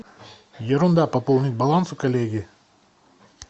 ерунда пополнить баланс у коллеги